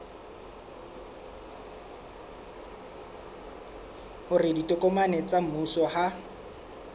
hore ditokomane tsa mmuso ha